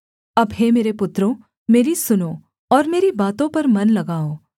अब हे मेरे पुत्रों मेरी सुनो और मेरी बातों पर मन लगाओ